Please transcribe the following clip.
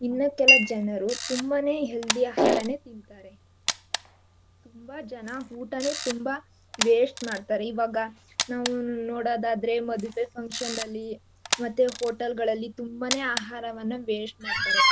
ಇನ್ನೂ ಕೆಲ ಜನರು ತುಂಬಾನೇ healthy ಆಹಾರಾನೆ ತಿಂತಾರೆ ತುಂಬಾ ಜನ ಊಟಾನೇ ತುಂಬಾ waste ಮಾಡ್ತಾರೆ ಇವಾಗ ನಾವು ನೋಡೋದಾದ್ರೆ ಮದ್ವೆ function ಅಲ್ಲಿ ಮತ್ತೆ hotel ಗಳಲ್ಲಿ ತಂಬಾನೆ ಆಹಾರವನ್ನ waste ಮಾಡ್ತಾರೆ.